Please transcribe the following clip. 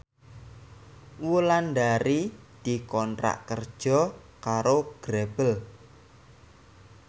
Wulandari dikontrak kerja karo Grebel